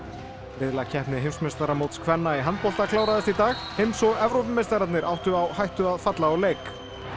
riðlakeppni heimsmeistaramóts kvenna í handbolta kláraðist í dag heims og Evrópumeistararnir áttu á hætta að falla úr leik